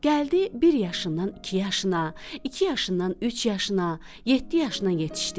Gəldi bir yaşından iki yaşına, iki yaşından üç yaşına, yeddi yaşına yetişdi.